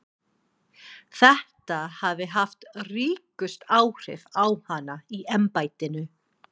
Þetta hafi haft ríkust áhrif á hana í embættinu.